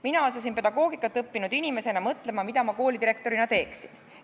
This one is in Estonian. Mina asusin pedagoogikat õppinud inimesena mõtlema, mida ma koolidirektorina teeksin.